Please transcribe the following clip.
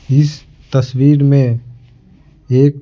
इस तस्वीर में एक--